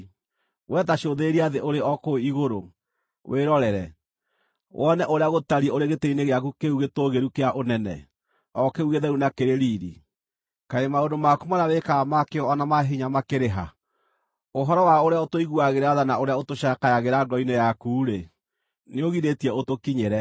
We ta cũthĩrĩria thĩ ũrĩ o kũu igũrũ, wĩrorere, wone ũrĩa gũtariĩ ũrĩ gĩtĩ-inĩ gĩaku kĩu gĩtũũgĩru kĩa ũnene, o kĩu gĩtheru na kĩrĩ riiri. Kaĩ maũndũ maku marĩa wĩkaga ma kĩyo o na ma hinya makĩrĩ ha? Ũhoro wa ũrĩa ũtũiguagĩra tha na ũrĩa ũtũcakayagĩra ngoro-inĩ yaku-rĩ, nĩũgirĩtie ũtũkinyĩre.